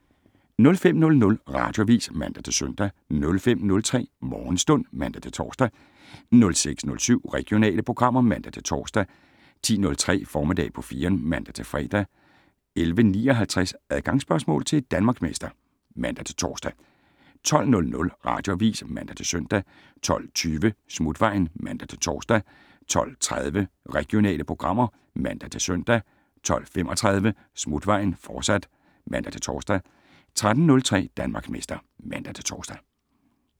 05:00: Radioavis (man-søn) 05:03: Morgenstund (man-tor) 06:07: Regionale programmer (man-tor) 10:03: Formiddag på 4eren (man-fre) 11:59: Adgangsspørgsmål til Danmarksmester (man-tor) 12:00: Radioavis (man-søn) 12:20: Smutvejen (man-tor) 12:30: Regionale programmer (man-søn) 12:35: Smutvejen, fortsat (man-tor) 13:03: Danmarksmester (man-tor)